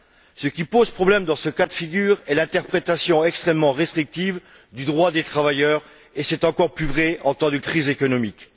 Ce qui pose problème dans ce cas de figure est l'interprétation extrêmement restrictive du droit des travailleurs, et c'est encore plus vrai en temps de crise économique.